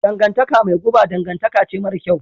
Dangantaka mai guba dangantaka ce mara kyau.